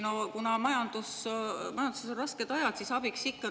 No kuna majanduses on rasked ajad, siis abiks ikka.